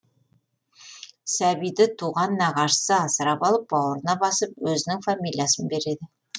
сәбиді туған нағашысы асырап алып бауырына басып өзінің фамилиясын береді